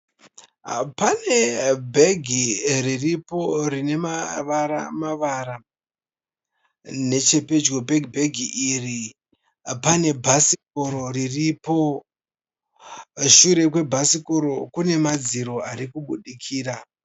Pane bhegi riripo rine mavara mavara. Nechepedyo pebheghi iri pane bhasikoro riripo. Shure kwebhasikoro kune madziro ari kubudikira